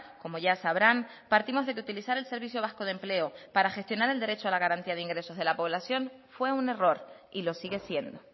como ya sabrán partimos de que utilizar el servicio vasco de empleo para gestionar el derecho a la garantía de ingresos de la población fue un error y lo sigue siendo